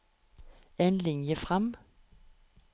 En linje fram